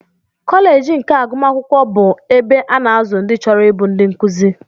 Koleej of agụmakwụkwọ bụ ebe a na-azụ ndị chọrọ ịbụ ndị nkụzi.